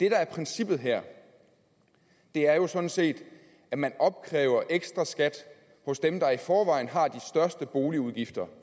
er princippet her er jo sådan set at man opkræver ekstraskat hos dem der i forvejen har de største boligudgifter